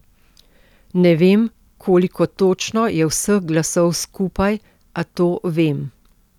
Ne vem, koliko točno je vseh glasov skupaj, a to vem.